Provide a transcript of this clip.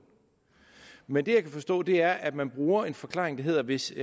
men det jeg kan forstå er at man bruger den forklaring at hvis